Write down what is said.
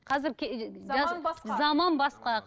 қазір заман басқа заман басқа